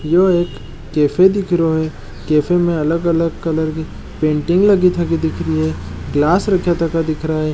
यो एक कैफ़े दिख रो है कैफ़े मे अलग अलग कलर की पेंटिंग गिलास रखा थका दिख रा है।